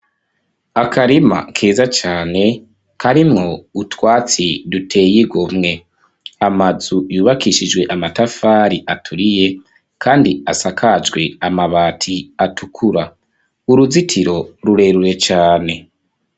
Akarima keza cane, karimwo utwatsi, duteye igomwe; amazu yubakishijwe amatafari, aturiye, kandi asakajwe amabati, atukura; uruzitiro, rurerure cane.